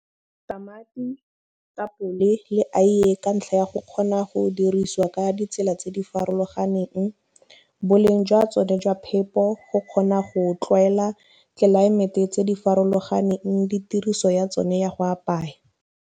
Tamati, tapole le aiye ka ntlha ya go kgona go dirisiwa ka ditsela tse di farologaneng, boleng jwa tsone jwa phepo, go kgona go tlwaela tlelaemete tse di farologaneng le tiriso ya tsone ya go apaya.